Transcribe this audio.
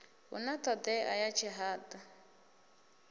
hu na thodea ya tshihadu